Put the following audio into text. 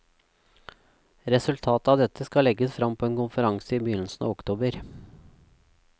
Resultatet av dette skal legges frem på en konferanse i begynnelsen av oktober.